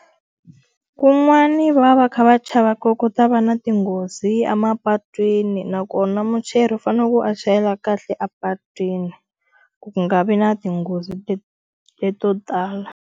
Kun'wani va va va kha va chava ku ku ta va na tinghozi emapatwini nakona muchayeri u fanele a chayela kahle apatwini, ku nga vi na tinghozi leto tala.